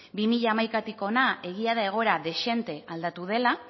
bi mila hamaikatik hona egia da egoera dezente aldatu dela